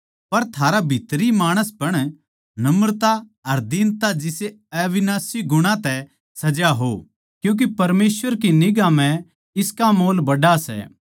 पर थारा भीतरी माणसपण नम्रता अर दीनता जिसे अविनाशी गुणा तै सजा हो क्यूँके परमेसवर की निगांह म्ह इसका मोल बड्ड़ा सै